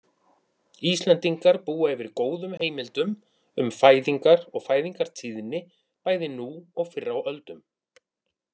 Íslendingar búa yfir góðum heimildum um fæðingar og fæðingartíðni bæði nú og fyrr á öldum.